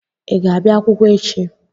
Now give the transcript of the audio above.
Ị ga-abịa akwụkwọ echi?